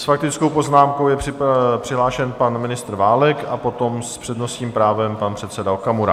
S faktickou poznámkou je přihlášen pan ministr Válek a potom s přednostním právem pan předseda Okamura.